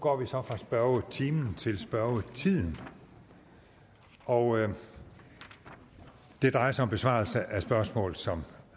går vi så fra spørgetimen til spørgetiden og det drejer sig om besvarelse af spørgsmål som